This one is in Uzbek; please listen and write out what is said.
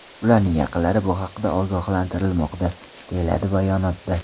Ularning yaqinlarini bu haqda ogohlantirilmoqda”, deyiladi bayonotda.